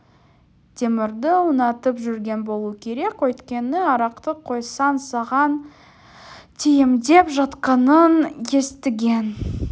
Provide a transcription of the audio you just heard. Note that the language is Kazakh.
темірді ұнатып жүрген болу керек өйткені арақты қойсаң саған тиемдеп жатқанын естіген